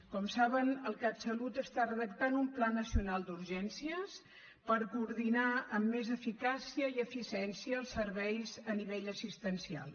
com saben el catsalut està redactant un pla nacional d’urgències per coordinar amb més eficàcia i eficiència els serveis a nivell assistencial